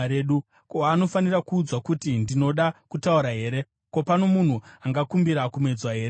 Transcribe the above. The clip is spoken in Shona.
Ko, anofanira kuudzwa kuti ndinoda kutaura here? Ko, pano munhu angakumbira kumedzwa here?